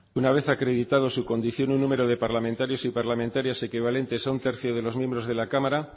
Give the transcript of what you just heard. artículo cuatro uno una vez haya acreditado su condición un número de parlamentarios y parlamentarias equivalente a un tercio de los miembros de la cámara